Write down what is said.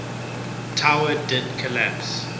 tower did collapse